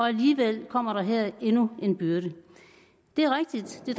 alligevel kommer der her endnu en byrde det er rigtigt at det